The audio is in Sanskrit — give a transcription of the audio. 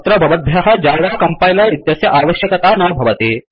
अत्र भवद्भ्यः जवा कंपैलर इत्यस्य आवश्यकता न भवति